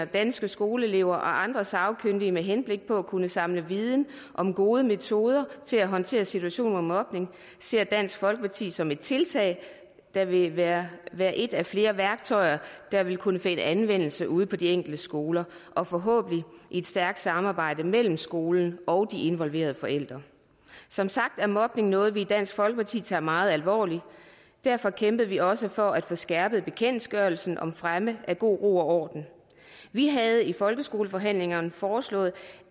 danske skoleelever og andre sagkyndige med henblik på at kunne samle viden om gode metoder til at håndtere situationer med mobning ser dansk folkeparti som et tiltag der vil være være et af flere værktøjer der vil kunne finde anvendelse ude på de enkelte skoler og forhåbentlig i et stærkt samarbejde mellem skolen og de involverede forældre som sagt er mobning noget vi i dansk folkeparti tager meget alvorligt derfor kæmpede vi også for at få skærpet bekendtgørelsen om fremme af god ro og orden vi havde i folkeskoleforhandlingerne foreslået